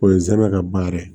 O ye zɛmɛ ka baara ye